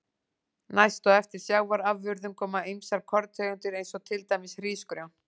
Næst á eftir sjávarafurðum koma ýmsar korntegundir eins og til dæmis hrísgrjón.